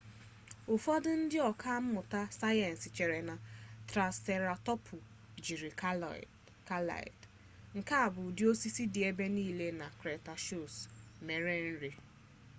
ụfọdụ ndị ọka mmụta sayensị chere na traịseratọpsụ jiri kaịad nke bụ ụdị osisi dị ebe nile na kretashiọs mere nri